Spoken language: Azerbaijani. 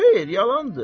Xeyr, yalandır.